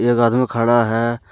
एक आदमी खड़ा है।